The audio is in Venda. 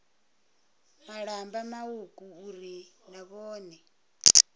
malamba mauku uri na vhone